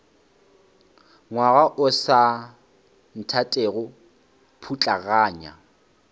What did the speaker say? ngwaga o sa nthatego putlaganya